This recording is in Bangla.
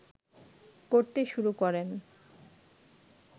করতে শুরু করেন